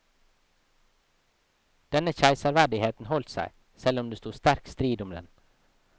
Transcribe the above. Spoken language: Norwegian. Denne keiserverdigheten holdt seg, selv om det stod sterk strid om den.